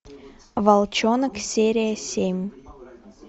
волчонок серия семь